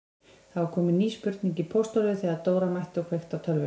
Það var komin ný spurning í pósthólfið þegar Dóra mætti og kveikti á tölvunni.